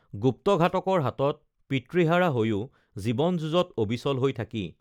গুপ্তঘাতকৰ হাতত পিতৃহাৰা হৈও জীৱন যুঁজত অবিচল হৈ থাকি